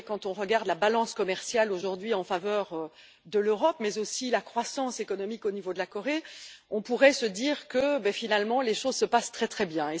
Quand on regarde la balance commerciale aujourd'hui en faveur de l'Europe, mais aussi la croissance économique au niveau de la Corée, on pourrait se dire que, finalement, les choses se passent très bien.